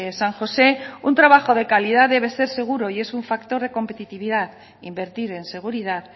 san josé un trabajo de calidad debe ser seguro y es un factor de competitividad invertir en seguridad